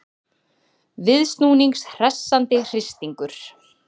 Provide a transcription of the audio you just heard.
Viðsnúnings hressandi hristingur.